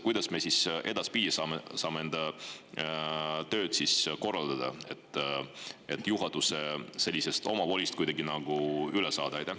Kuidas me siis edaspidi saame enda tööd korraldada, et juhatuse sellisest omavolist kuidagi nagu üle saada?